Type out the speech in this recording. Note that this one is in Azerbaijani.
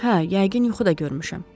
Hə, yəqin yuxu da görmüşəm.